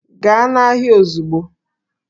Gaa n'ahịa ozugbo!